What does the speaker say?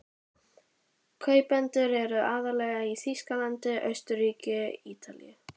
Kaupendur eru aðallega í Þýskalandi, Austurríki, Ítalíu